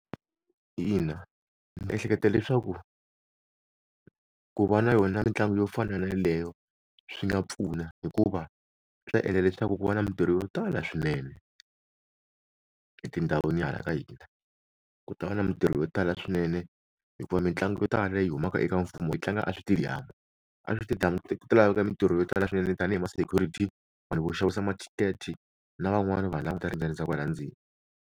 Ina, ndzi ehleketa leswaku ku va na yona mitlangu yo fana na yaleyo swi nga pfuna hikuva swi ta endla leswaku ku va na mintirho yo tala swinene etindhawini hala ka hina ku tava na mintirho yo tala swinene hikuva mitlangu yo tala leyi humaka eka mfumo yi tlanga a switediyamu a switediyamu ku laveka mintirho yo tala swinene tanihi ma security vanhu vo xavisa ma-ticket na van'wana va languta ri endzeni.